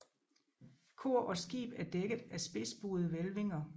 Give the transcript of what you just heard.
Kor og skib er dækket af spidsbuede hvælvinger